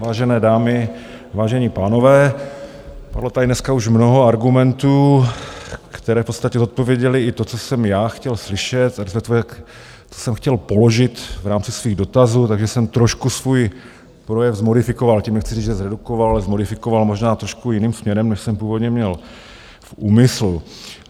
Vážené dámy, vážení pánové, padlo tady dneska už mnoho argumentů, které v podstatě zodpověděly i to, co jsem já chtěl slyšet, a to, co jsem chtěl položit v rámci svých dotazů, takže jsem trošku svůj projev zmodifikoval, tím nechci říct, že zredukoval, ale zmodifikoval možná trošku jiným směrem, než jsem původně měl v úmyslu.